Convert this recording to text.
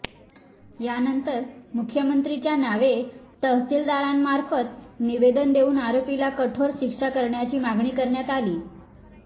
यानंतर मुख्यमंत्रीच्या नावे तहसीलदारांमार्फत निवेदन देऊन आरोपीला कठोर शिक्षा करण्याची मागणी करण्यात आली